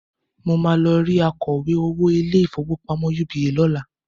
Mo máa lọ rí akọ̀wé owó ilé-ìfowópamọ́ UBA lọ́la